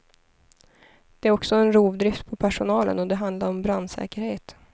Det är också en rovdrift på personalen och det handlar om brandsäkerhet.